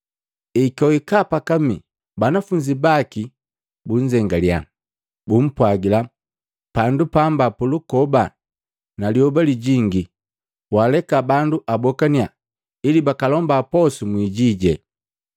Ekwahika pakamii, banafunzi baki bunzengaliya, bumpwagila, “Pandu pamba pulukoba, na lyoba lijingi, waleka bandu abokannya ili bakalomba posu mwijiji.”